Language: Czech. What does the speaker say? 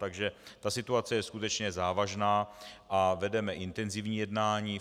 Takže ta situace je skutečně závažná a vedeme intenzivní jednání.